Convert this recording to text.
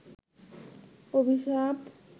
অভিশাপ